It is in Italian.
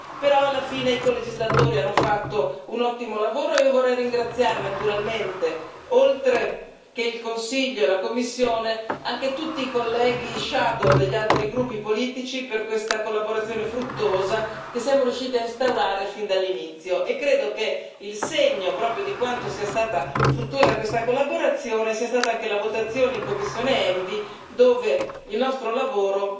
Però alla fine i colegislatori hanno fatto un ottimo lavoro e vorrei ringraziare naturalmente, oltre al Consiglio e alla Commissione, anche tutti i colleghi relatori ombra degli altri gruppi politici per questa collaborazione fruttuosa che siamo riusciti a instaurare fin dall'inizio e credo che il segno di quanto sia stata fruttuosa questa collaborazione sia stata anche la votazione in commissione ENVI, dove il nostro lavoro